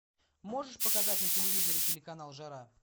можешь показать на телевизоре телеканал жара